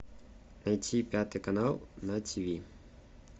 найти пятый канал на ти ви